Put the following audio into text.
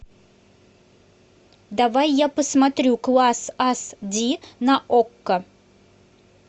давай я посмотрю класс ас ди на окко